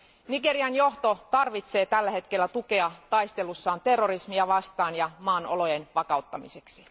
Nigerian johto tarvitsee tällä hetkellä tukea taistelussaan terrorismia vastaan ja maan olojen vakauttamiseksi.